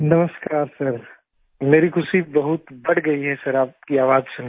नमस्कार सर मेरी खुशी बहुत बढ़ गई है सर आपकी आवाज़ सुन कर